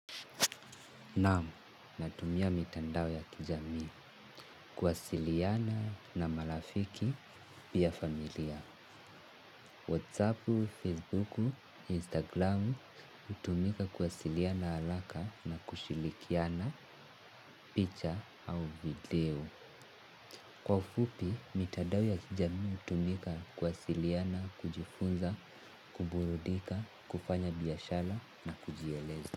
Naam, natumia mitandao ya kijamii, kuwasiliana na marafiki pia familia. Whatsappu, Facebooku, Instagramu, hutumika kuwasiliana haraka na kushirikiana picha au video. Kwa ufupi, mitandao ya kijamii hutumika kuwasiliana, kujifunza, kuburudika, kufanya biashara na kujieleza.